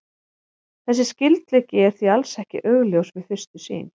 Þessi skyldleiki er því alls ekki augljós við fyrstu sýn.